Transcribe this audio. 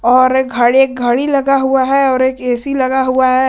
और एक घड़ी घड़ी लगा हुआ है और एक ए_सी लगा हुआ है।